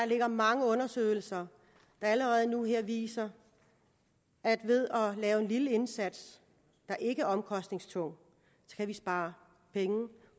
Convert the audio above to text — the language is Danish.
ligger mange undersøgelser der allerede nu viser at ved at lave en lille indsats der ikke er omkostningstung kan vi spare penge